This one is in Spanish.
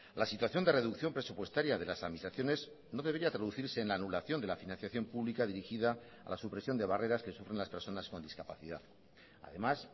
la situación de reducción presupuestaria de las administraciones no debería traducirse en la anulación de la financiación pública dirigida a la supresión de barreras que sufren las personas con discapacidad además